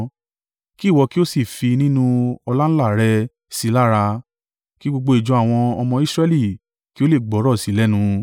Kí ìwọ kí ó sì fi nínú ọláńlá rẹ sí i lára, kí gbogbo ìjọ àwọn ọmọ Israẹli kí ó lè gbọ́rọ̀ sí i lẹ́nu.